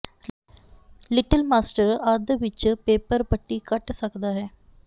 little master ਅੱਧ ਵਿੱਚ paper ਪੱਟੀ ਕੱਟ ਸਕਦਾ ਹੈ